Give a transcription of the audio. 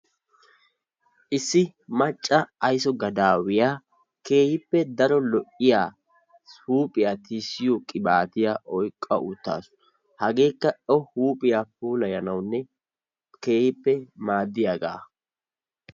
Issi macca ayso gadaawiya keehippe daro lo"iya huuphiya tisttiyo qibaatiya oyqqa uttaasu. Hageekka O huuphiya puulayanawunne keehippe maaddiyagaa.